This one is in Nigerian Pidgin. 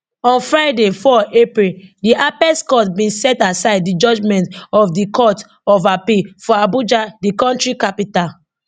on friday 4 april di apex court bin set aside di judgement of di court of appeal for abuja di kontri capital